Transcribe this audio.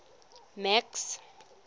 max